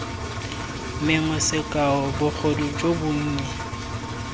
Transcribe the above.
mengwe sekao bogodu jo bonnye